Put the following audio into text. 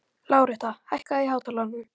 Láretta, hækkaðu í hátalaranum.